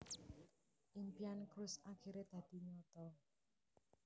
Impian Cruz akiré dadi nyata